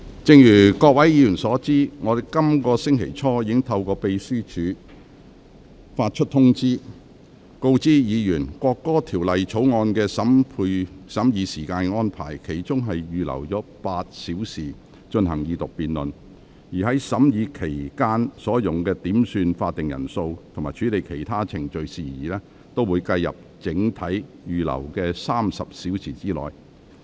正如各位議員所知，我在本星期初已透過秘書處發出通知，告知議員處理《國歌條例草案》的時間安排，其中預留了8小時進行二讀辯論，而審議期間用於點算法定人數和處理其他程序事宜的時間，會計入整體預留的30小時內。